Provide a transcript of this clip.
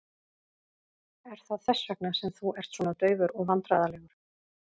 Er það þess vegna sem þú ert svona daufur og vandræðalegur?